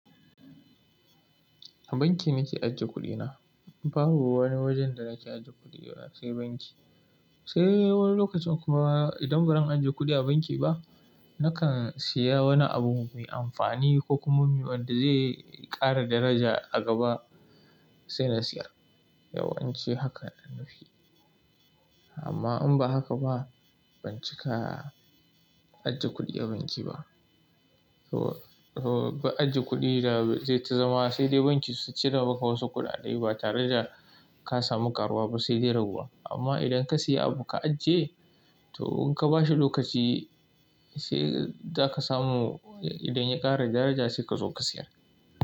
A banki nake ajiye kuɗina. Babu wani wajen da nake ajiye kuɗi face banki. Sai wani lokacin kuma idan baran ajiye kuɗi a banki ba, nakan siya wani abu mai amfani ko kuma wanda zai ƙara daraja a gaba sai na siya. Yawan ci haka na nufi. Amma in ba haka ba ban cika ajiye kuɗi a banki ba. To, to ba ajiye kuɗi da zai ta zama sai dai banki su cire maka wasu kuɗaɗai ba tare da ka samu ƙaruwa ba sai dai rabuwa. Amma idan ka siya abu ka ajiye to in ka bashi lokaci sai za ka samu idan ya ƙara daraja sai ka zo ka siya.